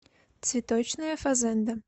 цветочная фазенда